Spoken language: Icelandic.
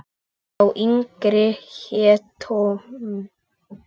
Sá yngri hét Tom.